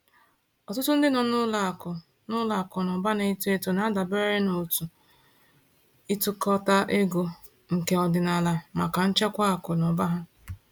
Ọtụtụ ndị nọ n’ụlọ akụ n’ụlọ akụ na ụba na-eto eto na-adabere n’òtù ịtukọta ego nke ọdịnala maka nchekwa akụ na ụba ha.